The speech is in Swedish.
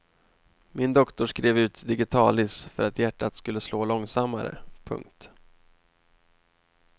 Min doktor skrev ut digitalis för att hjärtat skulle slå långsammare. punkt